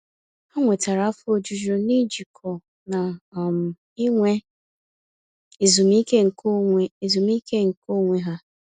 Ha nwetara afọ ojuju n'ijikọ na um inwe ezumiike nke onwe ezumiike nke onwe ha.